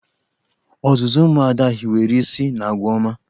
Ọzụzụ ụmụ Ada hiwere isi n'agwa ọma.